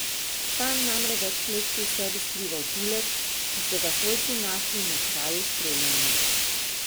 Ta je namreč več let pri sebi skrival tulec, ki so ga svojci našli na kraju streljanja.